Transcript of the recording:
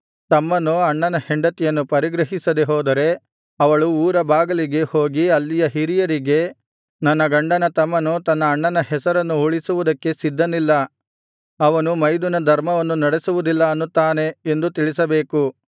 ತಮ್ಮನು ಅಣ್ಣನ ಹೆಂಡತಿಯನ್ನು ಪರಿಗ್ರಹಿಸದೆ ಹೋದರೆ ಅವಳು ಊರ ಬಾಗಿಲಿಗೆ ಹೋಗಿ ಅಲ್ಲಿಯ ಹಿರಿಯರಿಗೆ ನನ್ನ ಗಂಡನ ತಮ್ಮನು ತನ್ನ ಅಣ್ಣನ ಹೆಸರನ್ನು ಉಳಿಸುವುದಕ್ಕೆ ಸಿದ್ಧನಿಲ್ಲ ಅವನು ಮೈದುನಧರ್ಮವನ್ನು ನಡೆಸುವುದಿಲ್ಲ ಅನ್ನುತ್ತಾನೆ ಎಂದು ತಿಳಿಸಬೇಕು